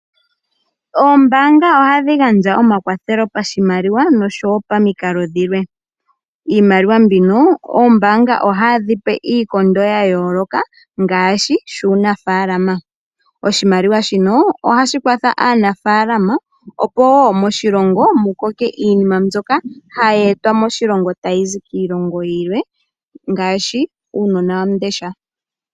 Oombanga ohadhi gandja omakwathelo poshimaliwa noshowo paminkalo dhimwe, iimaliwa mbino oombanga ohadhi pe iikondo ya yoloka ngashi shunafalama, oshimaliwa shino ohashi kwatha aanafalama opo wo moshilongo mukoke iinima mbyoka haye etwa moshilongo tayi zi kiilongo yimwe ngaashi uunawandesha.